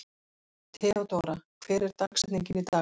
Theódóra, hver er dagsetningin í dag?